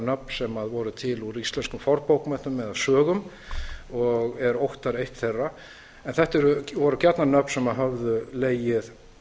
nöfn sem voru til úr íslenskum fornbókmenntum eða sögum og er óttarr eitt þeirra en þetta eru gjarnan nöfn sem höfðu legið